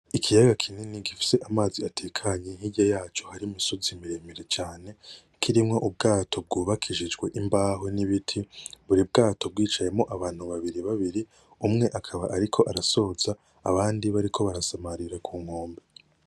Ikiyaga kinini gifise amazi atekanye hirya yaco hari imisozi miremire cane kirimwo ubwato bw'ubakishijwe imbaho n'ibiti, buri bwato bwicayemwo abantu babiri babiri, umwe akaba ariko arasoza abandi bariko barasamarira kunkombe.